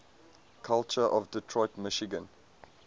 culture of detroit michigan